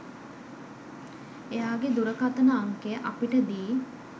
එයාගෙ දුරකථන අංකය අපිට දී